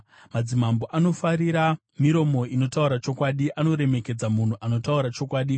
Madzimambo anofarira miromo inotaura chokwadi; anoremekedza munhu anotaura chokwadi.